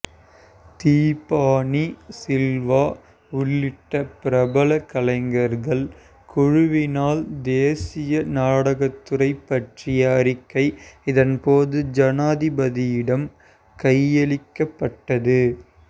தீபானி சில்வா உள்ளிட்ட பிரபல கலைஞர்கள் குழுவினால் தேசிய நாடகத்துறை பற்றிய அறிக்கை இதன்போது ஜனாதிபதியிடம் கையளிக்கப்பட்டது